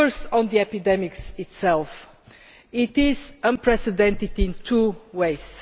On the epidemic itself it is unprecedented in two ways.